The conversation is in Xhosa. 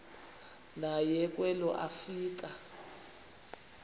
naye kwelo afika